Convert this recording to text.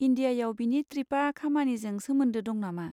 इन्डियायाव बिनि ट्रिपआ खामानिजों सोमोन्दो दं नामा?